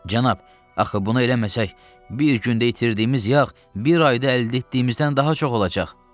Cənab, axı bunu eləməsək, bir gündə itirdiyimiz yağ bir ayda əldə etdiyimizdən daha çox olacaq.